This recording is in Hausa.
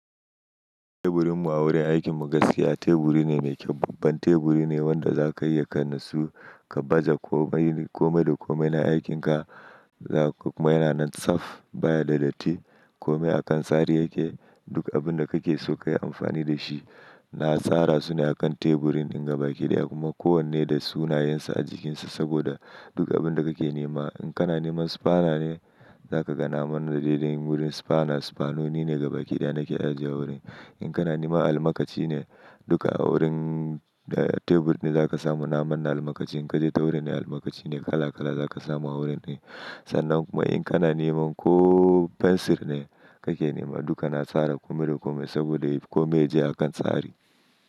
Teburinmu a wurin aikin mu gaskiya teburi ne mai kyau. Babban teburi ne wanda za ka iya kai nasu ka baje komai, kome da komai na aikinka. Ku ma yana nan tsaf baya da datti. Kome a kan tsari yake. Duk abin da kake so ka yi amfani da shi na tsara su ne a kan teburin inga bakidaya kuma kowanne da sunayensa a jikinsa. Saboda duk abin da kake nema, in kana neman spana ne za ka ga naman da ledan wurin spana. Spanoni ne inga bakidaya na ke ajiye wurin. In kana nema almakaci ne duka wurin tebur ne za ka samu na manna almakashin. In ka je ta wurin ne almakashi ne kala kala za ka samu a wurin ne. Sannan kuma in kana neman ko fensir ne kake nema duka na tsara kome da kome saboda kome yake a kan tsari.